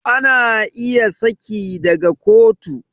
Ana iya saki daga kotu